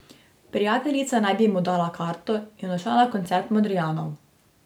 Prijateljica naj bi mu dala karto in odšla na koncert Modrijanov.